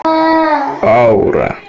аура